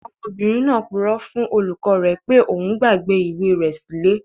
Ọmọbìnrin náà purọ́ fún olùkọ́ rẹ̀ pé òun gbàgbé ìwé rẹ̀ sí ilé